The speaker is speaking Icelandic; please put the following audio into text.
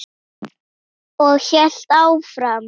Og hélt áfram: